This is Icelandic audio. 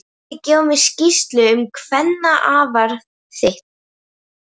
Þú þarft að gefa mér skýrslu um kvennafar þitt!